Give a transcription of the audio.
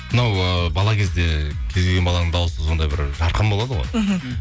мынау ы бала кезде кез келген баланың дауысы сондай бір жарқын болады ғой мхм